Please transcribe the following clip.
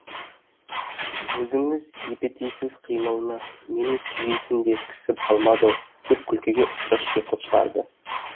өзіңіз епетейсіз қимылына мені сүйейтін де кісі қалмады ау деп күлкіге ұқсас шиқыл шығарды